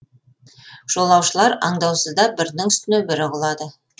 жолаушылар аңдаусызда бірінің үстіне бірі құлады